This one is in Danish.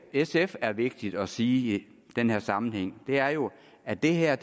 sf er vigtigt at sige i den her sammenhæng er jo at det her